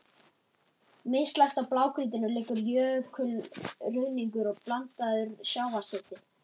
Mislægt á blágrýtinu liggur jökulruðningur blandaður sjávarseti.